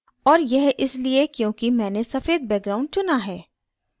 और यह इसलिए क्योंकि मैंने सफ़ेद background चुना है